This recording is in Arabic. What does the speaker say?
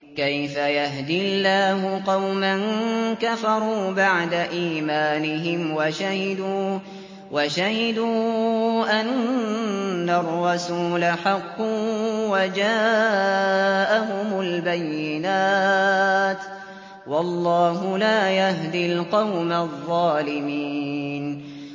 كَيْفَ يَهْدِي اللَّهُ قَوْمًا كَفَرُوا بَعْدَ إِيمَانِهِمْ وَشَهِدُوا أَنَّ الرَّسُولَ حَقٌّ وَجَاءَهُمُ الْبَيِّنَاتُ ۚ وَاللَّهُ لَا يَهْدِي الْقَوْمَ الظَّالِمِينَ